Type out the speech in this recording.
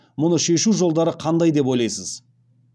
мұны шешу жолдары қандай деп ойлайсыз